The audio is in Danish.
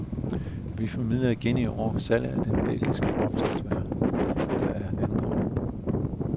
Vi formidler igen i år salget af det belgiske opslagsværk, der nu er ankommet.